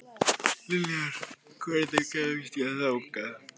Liljar, hvernig kemst ég þangað?